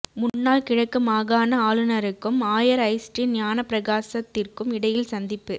முன்னாள் கிழக்கு மாகாண ஆளுநருக்கும் ஆயர் ஜஸ்டின் ஞானப்பிரகாசத்திற்கும் இடையில் சந்திப்பு